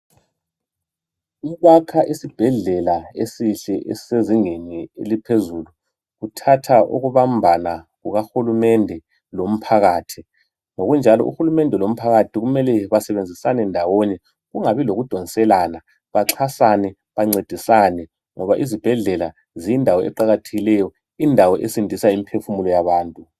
Ukwakha esibhedlela esihle esisezingeni eliphezulu kuthatha ukubambana kukahulumende lomphakathi ngokunjalo uhulumende lomphakathi kumele basebenzisane ndawonye kungabi lokudonselana baxhasane bancedisane ngoba izibhedlela ziyindawo eqakathekileyo indawo esindisa imiphefumulo yabantu.